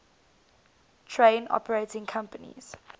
train operating companies